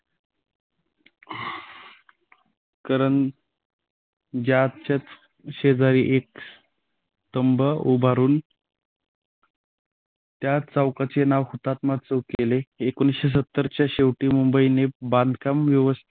करं ज्याचच शेजारी एक स्तंभ उभारून या चौकाचे नाव हुतात्मा चौक केले. एकोणीस सत्तर च्या शेवटी मुंबईने बांधकाम व्यवस्थित